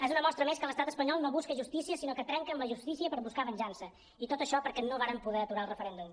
és una mostra més que l’estat espanyol no busca justícia sinó que trenca amb la justícia per buscar venjança i tot això perquè no varen poder aturar el referèndum